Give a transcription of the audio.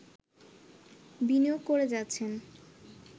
বিনিয়োগ করে যাচ্ছেন